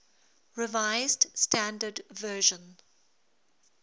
revised standard version